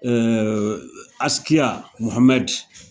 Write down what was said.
Askia Mohamɛd